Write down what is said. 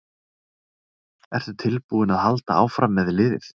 Ertu tilbúinn að halda áfram með liðið?